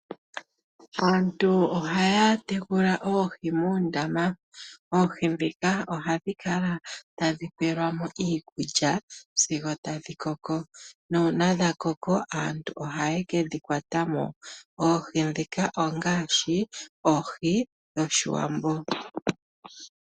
Aantu ohaya tekula oohi muundama, oohi dhika ohadhi kala tadhi pelwa mo iikulya sigo tadhi Koko, nuuna dhakoko aantu ohaye kedhi kwata mo. Oohi dhika ongaashi oohi dhoshiwambo.